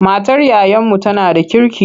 Matar yayanmu tana da kirki.